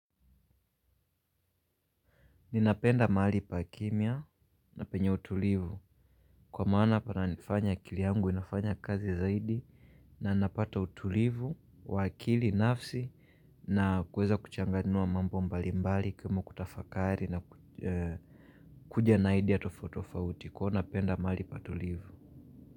Ninapenda mahali pa kimya na penye utulivu. Kwa maana pananifanya akili yangu inifanya kazi zaidi. Na napata utulivu, wa akili, nafsi. Na kuweza kuchanganua mambo mbalimbali, kama kutafakari na kuja na idea tofauti tofauti. Kwa napenda mahali patulivu.